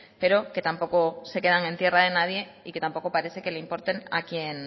pero que tampoco se quedan en tierra de nadie y que tampoco parece que le importen